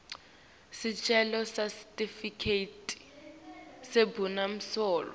sicelo sesitifiketi sebumsulwa